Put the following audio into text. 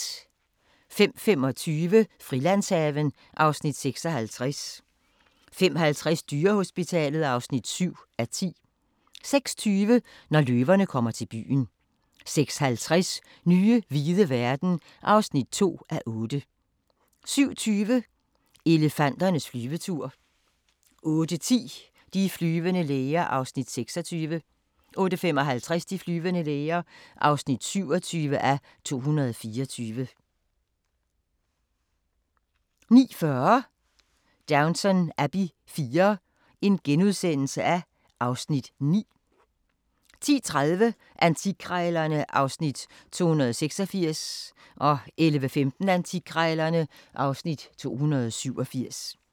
05:25: Frilandshaven (Afs. 56) 05:50: Dyrehospitalet (7:10) 06:20: Når løverne kommer til byen 06:50: Nye hvide verden (2:8) 07:20: Elefanternes flyvetur 08:10: De flyvende læger (26:224) 08:55: De flyvende læger (27:224) 09:40: Downton Abbey IV (Afs. 9)* 10:30: Antikkrejlerne (Afs. 286) 11:15: Antikkrejlerne (Afs. 287)